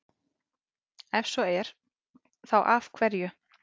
Ef svo er, þá af hverju?